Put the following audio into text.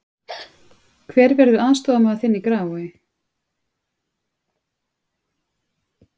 Hver verður aðstoðarmaður þinn í Grafarvogi?